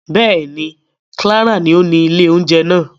Bẹ́ẹ̀ni, Clara ni oni ìlé ounjẹ naa.